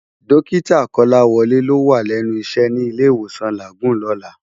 Dòkitá Kolawole ló wá lènú iṣè ni Ilé Iwósán Lágúùn lòlá